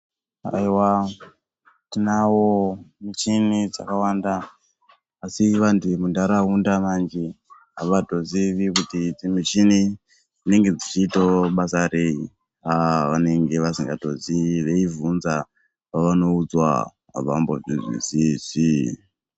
Aewaa tinawo michini dzakawanda asi vantu vemundaraunda manje avatozivi kuti muchini dzinenge dzichiitawo basa reti aaa vanenge vasingatozivi veyibvunza pavanoudzwa avambozvi zwisisi.